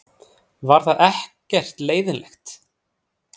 Var það ekkert leiðinlegt?